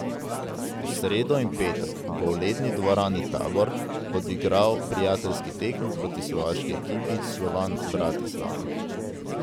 V sredo in petek bo v Ledni dvorani Tabor odigral prijateljski tekmi proti slovaški ekipi Slovan Bratislava.